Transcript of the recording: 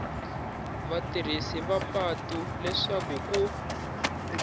vatirhisi va patu leswaku ku